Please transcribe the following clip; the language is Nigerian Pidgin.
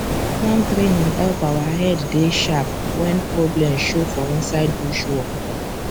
farm training help our head dey sharp when problem show for inside bush work